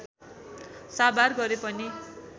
साभार गरेपनि